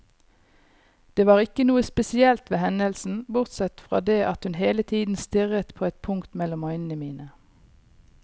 Det var ikke noe spesielt ved hendelsen, bortsett fra det at hun hele tiden stirret på et punkt mellom øynene mine.